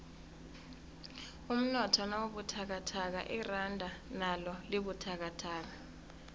umnotho nawubuthakathaka iranda nalo libabuthakathaka